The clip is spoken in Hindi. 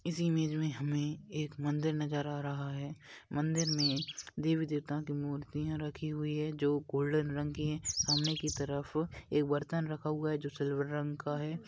इस इमेज में हमें एक मंदिर नजर आ रहा है मंदिर में देवी देवताओं की मूर्तियाँ रखी हुई हैं जो गोल्डन रंग की है सामने की तरफ एक बर्तन रखा हुआ है जो सिल्वर रंग का है।